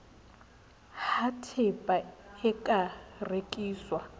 ha tehpa e ka rekiswang